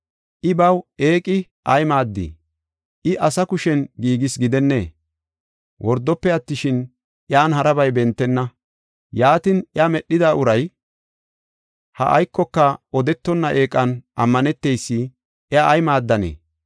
“I baw eeqi ay maaddii? Iya asa kushen giigis gidennee? Wordofe attishin, iyan harabay bentenna. Yaatin, iya medhida uray ha aykoka odetonna eeqan ammaneteysi iya ay maaddanee?